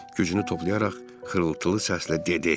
Gücünü toplayaraq xırıltılı səslə dedi: